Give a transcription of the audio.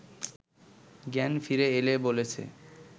জ্ঞান ফিরে এলে বলেছে